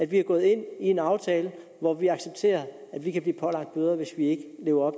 vi går ind i en aftale hvor vi accepterer at vi kan blive pålagt bøder hvis vi ikke lever